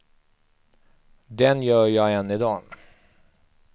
Den gör jag än i dag.